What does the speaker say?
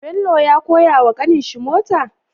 Bello ya koyawa kanin shi mota?